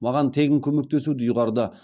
маған тегін көмектесуді ұйғарды